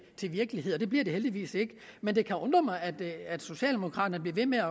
virkelighed og det bliver det heldigvis ikke men det kan undre mig at socialdemokraterne bliver ved med